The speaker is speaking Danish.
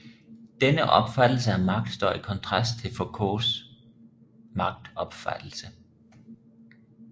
Denne opfattelse af magt står i kontrast til Foucaults magtopfattelse